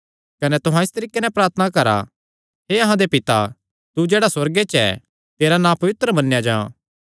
कने तुहां इस तरीके नैं प्रार्थना करा हे अहां दे पिता तू जेह्ड़ा सुअर्गे च ऐ तेरा नां पवित्र मन्नेया जां